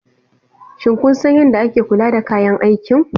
Shin kun san yadda ake kula da kayan aikin?